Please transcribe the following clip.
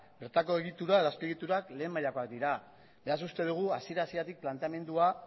bertako egitura edo azpiegiturak lehen mailakoak dira beraz uste dugu hasiera hasieratik planteamendua